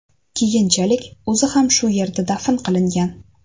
Keyinchalik o‘zi ham shu yerga dafn qilingan.